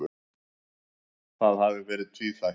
Það hafi verið tvíþætt.